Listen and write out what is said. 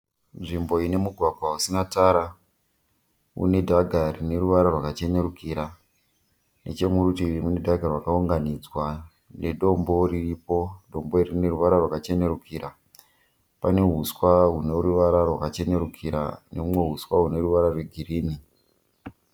Nzvimbo ine mugwagwa usina tara, une dhaga rine ruvara rwakachenerukira, nechemurutivi mune dhaga rakaunganidzwa nedombo riripo, dombo iri rine ruvara rwakachenerukira. Pane huswa rune ruvara rwakachenerukira neumwe huswa hune ruvara rwe green.